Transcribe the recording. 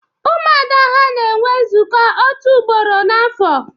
Umuada ha na enwe nzuko otu ugboro n'afo